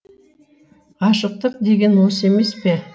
ғашықтық деген осы емес пе